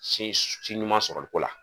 Sin s si ɲuman sɔrɔli ko la